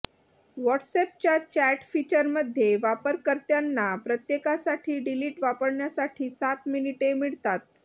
व्हॉट्सअॅपच्या chat फीचरमध्ये वापरकर्त्यांना प्रत्येकासाठी डिलीट वापरण्यासाठी सात मिनिटे मिळतात